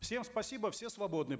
всем спасибо все свободны